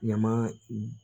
Ɲama